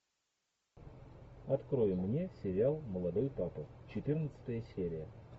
открой мне сериал молодой папа четырнадцатая серия